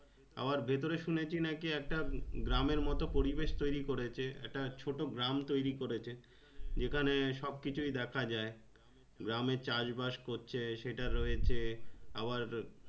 আবার ভেতরে শুনেছি নাকি একটা গ্রামের মতন পরিবেশ তৈরী করেছে একটা ছোট গ্রাম তৈরী করেছে যেখানে সব কিছুই দেখা যায় গ্রামে চাষ বাস করছে সেটা রয়েছে আবার